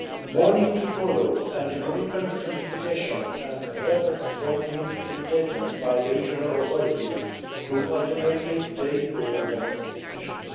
More need to follow, and a commitment to simplification and adequate support needs to be taken by the regional authorities who ultimately take the relevant decisions.